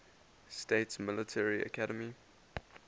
states military academy